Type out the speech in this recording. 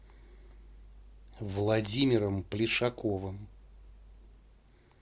владимиром плешаковым